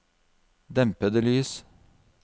dempede lys